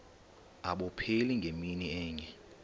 abupheli ngemini enye